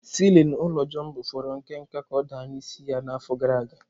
Siilin ụlọ Jumbo fọrọ nke nta ka ọ daa n'isi ya n'afọ gara aga.